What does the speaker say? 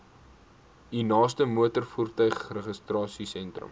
u naaste motorvoertuigregistrasiesentrum